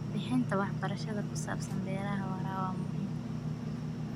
Bixinta waxbarashada ku saabsan beeraha waara waa muhiim.